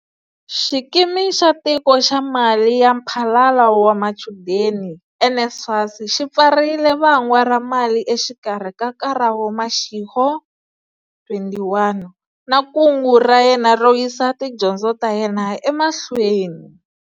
Xikimi xa Tiko xa Mali ya Mphalalo wa Machudeni, NSFAS, xi pfarile va ngwa ra mali exikarhi ka Karabo Mashego, 21, na kungu ra yena ro yisa tidyondzo ta yena emahlweni.